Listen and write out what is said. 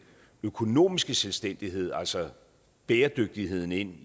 økonomiske selvstændighed altså bæredygtigheden ind